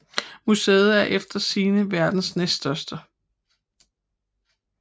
Museet er efter sigende verdens næststørste